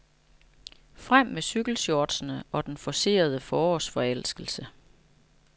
Frem med cykelshortsene og den forcerede forårsforelskelse.